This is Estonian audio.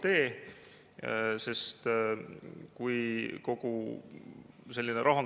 Isegi Euroopas, vaadates Saksamaa ja Prantsusmaa suunas, tundub see nende poliitika elluviimise, kasvõi riigi tasandil, hirmuäratav.